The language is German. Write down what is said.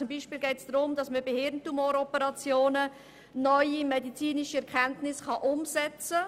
Es geht zum Beispiel darum, bei Hirntumor-Operationen neue medizinische Erkenntnisse umzusetzen.